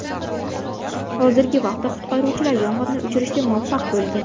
Hozirgi vaqtda qutqaruvchilar yong‘inni o‘chirishga muvaffaq bo‘lgan.